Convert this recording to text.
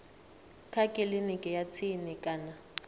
kha kiliniki ya tsini kana